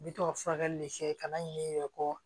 N bɛ tɔ furakɛli de kɛ ka na ɲina i yɛrɛ kɔ